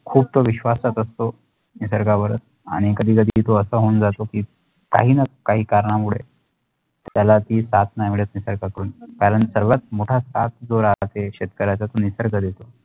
खुपतो विश्वासात असतो निसर्गावर आणि कधीही कधीही तो आताह होऊन जातोकी काही ना काही कारणा मुळे त्यालाती साथ नाही मिळत नाही निसर्गाकडून कारण सर्वात मोठा साथ जो राहत असत शेतकऱ्याचा तो निसर्ग देत